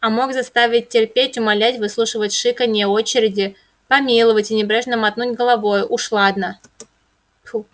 а мог заставить терпеть умолять выслушивать шиканье очереди помиловать и небрежно мотнуть головой уж ладно ху